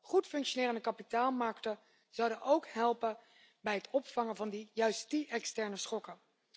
Goed functionerende kapitaalmarkten zouden ook helpen bij het opvangen van juist die externe schokken.